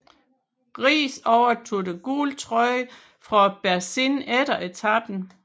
Riis overtog den gule trøje fra Berzin efter etapen